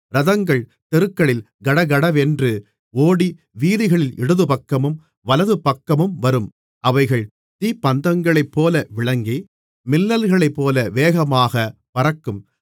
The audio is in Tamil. இரதங்கள் தெருக்களில் கடகட என்று ஓடி வீதிகளில் இடதுபக்கமும் வலதுபக்கமும் வரும் அவைகள் தீப்பந்தங்களைப்போல விளங்கி மின்னல்களைப்போல வேகமாகப் பறக்கும்